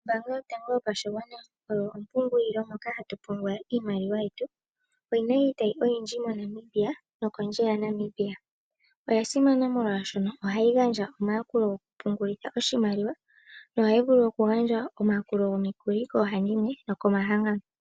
Ombaanga yotango yopashigwana oyo ompungulilo moka hatu pungula iimaliwa yetu. Oyina iitayi oyindji mo Namibia nokondje ya Namibia. Oya simana molwaashono oha yi gandja omayakulo goku pungulitha oshimaliwa. Nohayi vulu okugandja omayakulo gomikuli koohandimwe noko mahangano.